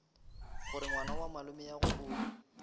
gore ngwana wa malomeagwe o